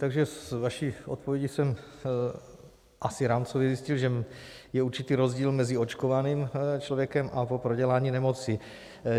Takže z vaší odpovědi jsem asi rámcově zjistil, že je určitý rozdíl mezi očkovaným člověkem a po prodělání nemoci.